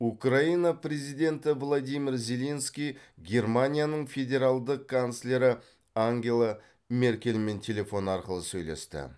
украина президенті владимир зеленский германияның федералдық канцлері ангела меркельмен телефон арқылы сөйлесті